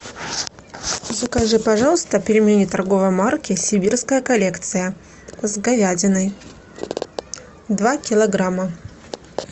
закажи пожалуйста пельмени торговой марки сибирская коллекция с говядиной два килограмма